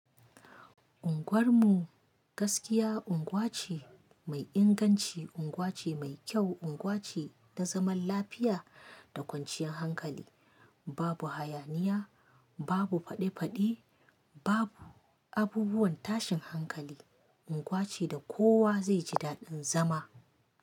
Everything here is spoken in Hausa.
Unguwar mu gaskiya unguwa ce mai inganci, unguwa ce mai kyau, unguwa ce ta zaman lafiya da kwanciyar hankali. Babu hayaniya, babu faɗe-faɗi, babu abubuwan tashin hankali. Unguwa ce da kowa zai ji daɗin zama.